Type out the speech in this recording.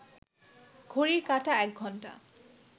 ঘড়ির কাঁটা একঘন্টা